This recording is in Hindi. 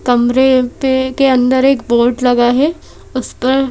कमरे पे के अंदर एक बोर्ड लगा है उस पर--